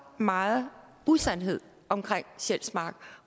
meget usandhed omkring sjælsmark